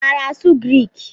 I maara asụ Griik?